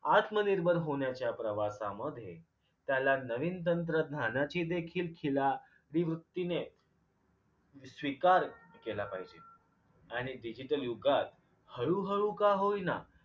आत्मनिर्भर होण्याच्या प्रवासामध्ये त्याला नवीन तंत्रज्ञानाची देखील खिला स्वीकार केला पाहिजे आणि digital युगात हळूहळू का होईना